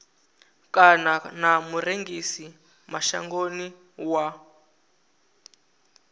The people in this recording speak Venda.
kana na murengisi mashangoni wa